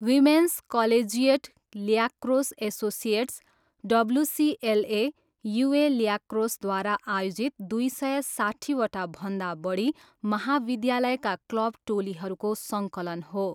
Women's collegiate lacrosse associates, WCLA, UA ल्याक्रोसद्वारा आयोजित दुई सय साट्ठीवटा भन्दा बढी महाविद्यालयका क्लब टोलीहरूको सङ्कलन हो।